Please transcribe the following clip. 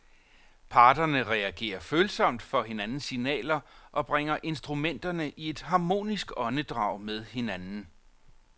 Parterne reagerer følsomt for hinandens signaler og bringer instrumenterne i et harmonisk åndedrag med hinanden.